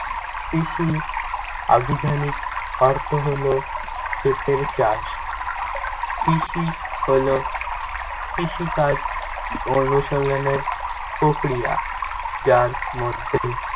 কৃষির আভিধানিক অর্থ হলো ক্ষেতের চাষ। কৃষি হলো কৃষিকাজ অনুশীলনের প্রক্রিয়া। যার মধ্যে